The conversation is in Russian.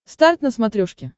старт на смотрешке